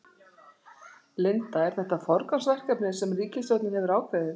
Linda, er þetta forgangsverkefni sem ríkisstjórnin hefur ákveðið?